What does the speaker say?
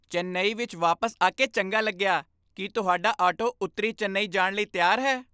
ਚੇਨੱਈ ਵਿੱਚ ਵਾਪਿਸ ਆਕੇ ਚੰਗਾ ਲੱਗਿਆ। ਕੀ ਤੁਹਾਡਾ ਆਟੋ ਉੱਤਰੀ ਚੇਨਈ ਜਾਣ ਲਈ ਤਿਆਰ ਹੈ?